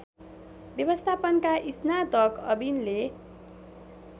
व्यवस्थापनका स्नातक अविनले